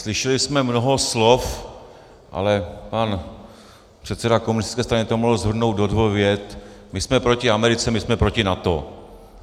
Slyšeli jsme mnoho slov, ale pan předseda komunistické strany to mohl shrnout do dvou vět: My jsme proti Americe, my jsme proti NATO.